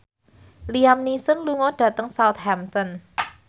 Liam Neeson lunga dhateng Southampton